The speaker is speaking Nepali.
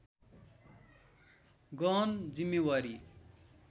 गहन जिम्मेवारी